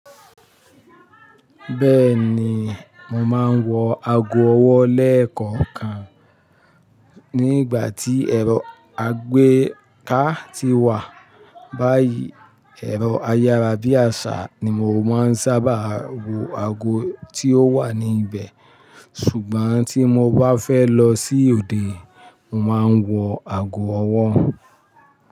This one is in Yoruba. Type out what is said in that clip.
Bẹ́ẹ̀ ni, mo máa ń wọ ago ọwọ́ lẹ́ẹ̀kọ̀kan nígbà tí ẹ̀rọ àgbéká ti wà. Báyìí ẹ̀rọ ayárabíàṣá ni mò ń sábà wo ago tí ó wà ni íbẹ̀. Ṣùgbọ́n tí mo bá fẹ́ lọ sí òde, mo máa ń wọ ago ọwọ́